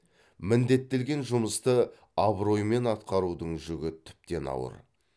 міндеттелген жұмысты абыроймен атқарудың жүгі тіптен ауыр